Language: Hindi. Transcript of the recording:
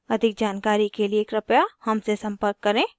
अधिक जानकारी के लिए कृपया हमसे संपर्क करें